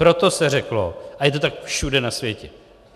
Proto se řeklo - a je to tak všude na světě.